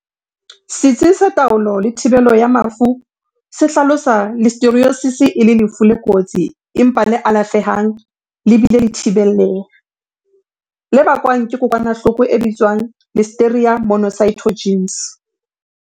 Setsi sa Taolo le Thibelo ya Mafu se hlalosa Listeriosis e le lefu le kotsi empa le alafe hang le bile e le thibelleha, le bakwang ke kokwanahloko e bitswang Listeria monocytogenes.